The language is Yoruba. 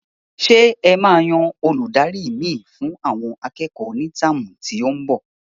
Ṣé e máa yan Olùdarí mi fún àwọn akẹ́kọ̀ọ́ ní táàmù tí óún bo?